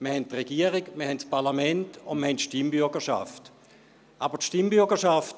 Wir haben die Regierung, wir haben das Parlament, und wir haben die Stimmbürgerschaft.